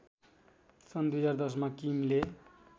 सन् २०१०मा किमले